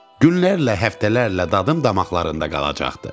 Günlərlə, həftələrlə dadım damaqlarında qalacaqdı.